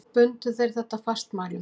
Bundu þeir þetta fastmælum.